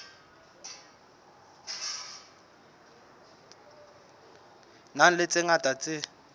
nang le tse ngata tse